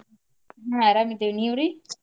ಆಹ್ ಅರಾಮ ಇದೇವ ನೀವ್ರಿ?